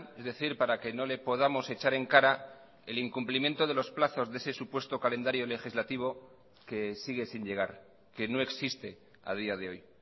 es decir para que no le podamos echar en cara el incumplimiento de los plazos de ese supuesto calendario legislativo que sigue sin llegar que no existe a día de hoy